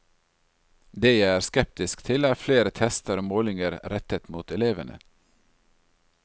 Det jeg er skeptisk til, er flere tester og målinger rettet mot elevene.